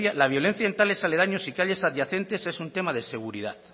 la violencia en tales aledaños y calles adyacentes es un tema de seguridad